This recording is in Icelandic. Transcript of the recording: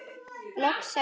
Loks sagði hún: